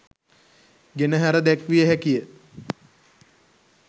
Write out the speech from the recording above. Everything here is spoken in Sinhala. ගෙනහැර දැක්විය හැකිය.